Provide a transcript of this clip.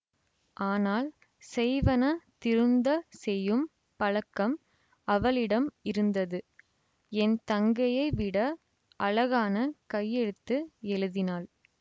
ஆனால் செய்வன திருந்தச் செய்யும் பழக்கம் அவளிடம் இருந்தது என் தங்கையை விட அழகான கையெழுத்து எழுதினாள்